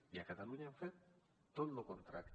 i a catalunya hem fet tot el contrari